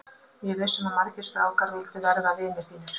Ég er viss um að margir strákar vildu verða vinir þínir.